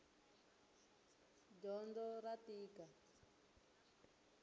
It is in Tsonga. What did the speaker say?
dyondo ra tika